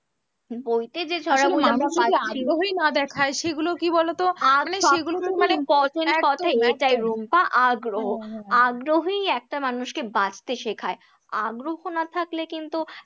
বইতে যে ছড়াগুলো আমরা পাচ্ছি বই না দেখায় সেগুলো কি বলো তো? এটাই রুম্পা আগ্রহ, আগ্রহই একটা মানুষকে বাঁচতে শেখায়, আগ্রহ না থাকলে কিন্তু